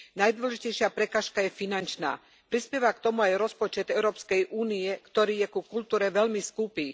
Najdôležitejšia prekážka je finančná. Prispieva k tomu aj rozpočet Európskej únie, ktorý je ku kultúre veľmi skúpy.